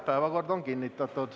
Päevakord on kinnitatud.